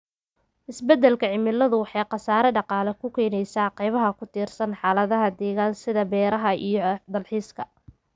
Isbeddelka cimiladu waxay khasaare dhaqaale u keenaysaa qaybaha ku tiirsan xaaladaha deggan, sida beeraha iyo dalxiiska.